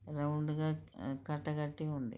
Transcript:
round గా కట్ట కట్టి ఉంది